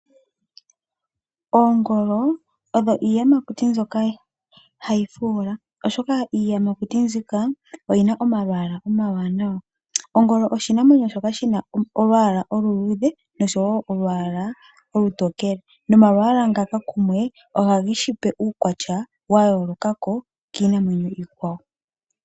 Oongolo odho iiyamakuti mbyoka hayi fuula, oshoka iiyamakuti mbika oyi na omalwaala omawaanawa. Ongolo oshinamwemyo shoka shi na olwaala oluluudhe noshowo olwaala olutokele, nomalwaala ngaka kumwe ohage shi pe uukwatya wa yooloka kiinamwenyo iikwawo.